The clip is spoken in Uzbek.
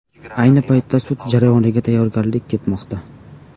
Ayni paytda sud jarayoniga tayyorgarlik ketmoqda.